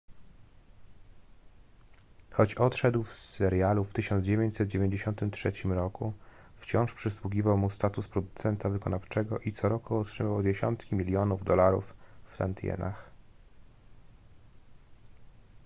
choć odszedł z serialu w 1993 roku wciąż przysługiwał mu status producenta wykonawczego i co roku otrzymywał dziesiątki milionów dolarów w tantiemach